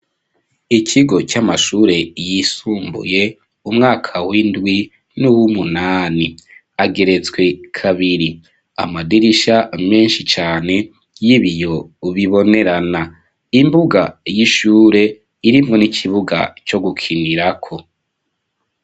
Ikigo c'amashure yisumbuye umwaka w'indwi nuw'umunani ageretswe kabiri amadirisha menshi cane y'ibiyo ubibonerana imbuga y'ishure irimwo n'ikibuga co gukinirako.